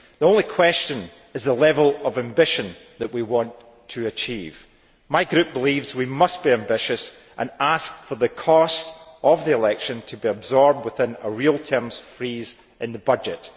The only question is the level of ambition that we want to achieve. My group believes we must be ambitious and ask for the cost of the election to be absorbed within a real terms freeze in the budget.